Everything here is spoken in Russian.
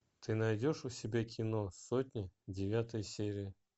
ты найдешь у себя кино сотня девятая серия